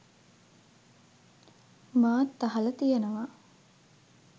මාත් අහල තියෙනවා.